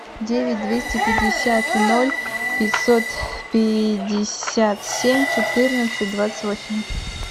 девять двести пятьдесят ноль пятьсот пятьдесят семь четырнадцать двадцать восемь